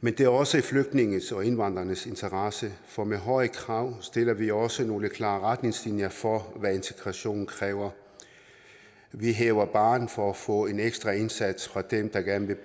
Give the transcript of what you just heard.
men det er også i flygtningenes og indvandrernes interesse for med høje krav opstiller vi også nogle klare retningslinjer for hvad integrationen kræver vi hæver barren for at få en ekstra indsats fra dem der gerne vil